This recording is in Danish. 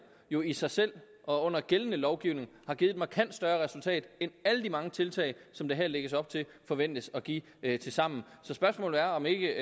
jo i sig selv og under gældende lovgivning har givet et markant større resultat end alle de mange tiltag som der her lægges op til forventes at give tilsammen så spørgsmålet er om ikke